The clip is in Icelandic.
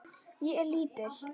Ég er lítil.